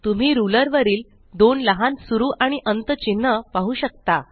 तुम्ही रुलर वरील दोन लहान सुरु आणि अंत चिन्ह पाहू शकता